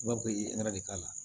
I b'a fɔ i ye de k'a la